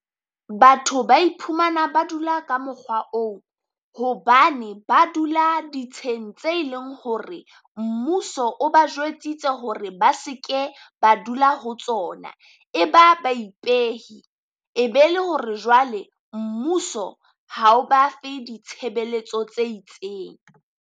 Batho ba iphumana ba dula ka mokgwa oo, hobane ba dula ditsheng tse ileng hore mmuso o ba jwetsitse hore ba se ke ba dula ho tsona. E ba ba ipehe, e be le hore jwale mmuso ha o ba fe ditshebeletso tse itseng.